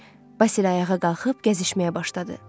Basil ayağa qalxıb gəzişməyə başladı.